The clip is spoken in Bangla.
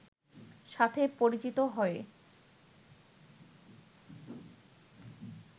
সাথে পরিচিত হয়ে